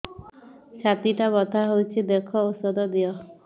ଛାତି ଟା ବଥା ହଉଚି ଦେଖ ଔଷଧ ଦିଅ